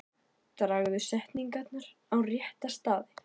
Dragðu setningar á rétta staði.